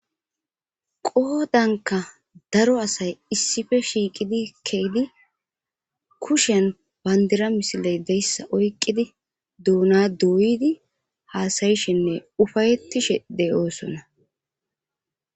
Qodanka daro asay issife shiiqidi keydi kushan bandira misiley deyssa oyqqidi duuna doyidi haasayishenne ufayettishe d'oosona.